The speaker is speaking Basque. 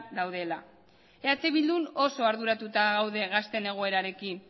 daudela eh bildun oso arduratuta gaude gazteen egoerarekin